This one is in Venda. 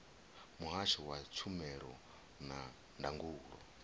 muhasho wa tshumelo na ndangulo